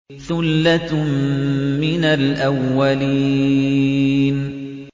ثُلَّةٌ مِّنَ الْأَوَّلِينَ